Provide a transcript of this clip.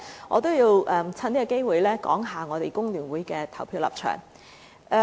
我亦想藉此機會談談工聯會議員的投票立場。